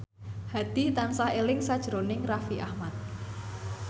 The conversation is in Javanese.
Hadi tansah eling sakjroning Raffi Ahmad